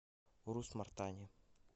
урус мартане